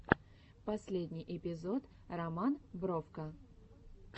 последний эпизод роман бровко